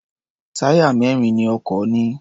Táyà mẹ́rin ni ọkọ̀ ní.